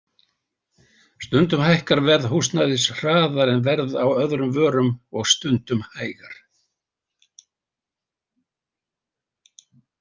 Stundum hækkar verð húsnæðis hraðar en verð á öðrum vörum og stundum hægar.